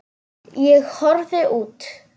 Ég horfi út.